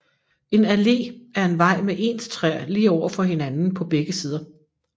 En allé er en vej med ens træer lige over for hinanden på begge sider